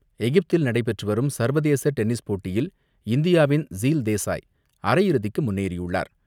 எகிப்தில் நடைபெற்று வரும் சர்வதேச டென்னிஸ் போட்டியில் இந்தியாவின் ஸீல் தேசாய் அரையிறுதிக்கு முன்னேறியுள்ளார்.